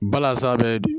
Balasa bɛ